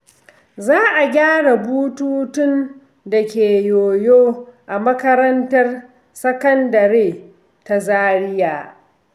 Za a gyara bututun da ke yoyo a makarantar sakandare ta Zariya.